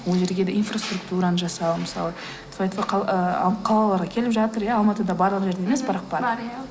ол жерге де инфроструктураны жасау мысалы тфай тфай ы қалаларға да келіп жатыр иә алматыда барлық жерде емес бірақ бар бар иә